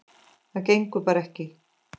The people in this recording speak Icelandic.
Það gengur bara ekki.